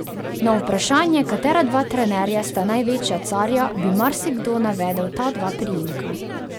Na vprašanje, katera dva trenerja sta največja carja, bi marsikdo navedel ta dva priimka.